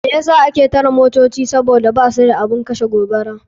Me yasa ake tare motoci sabida basu da abun kashe gobara.